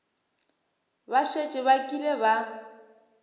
ba šetše ba kile ba